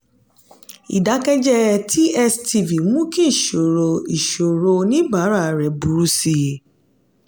ìdákẹ́jẹ̀ẹ́ tstv mú kí ìṣòro ìṣòro oníbàárà rẹ̀ burú sí i.